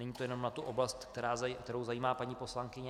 Není to jenom na tu oblast, která zajímá paní poslankyni.